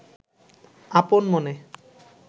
আপন মনে